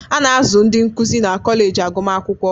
A na-azụ ndị nkuzi na kọleji agụmakwụkwọ